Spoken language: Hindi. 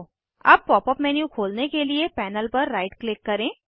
अब पॉप अप मेन्यू खोलने के लिए पैनल पर राइट क्लिक करें